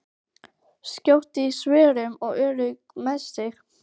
Skjót í svörum og örugg með sig.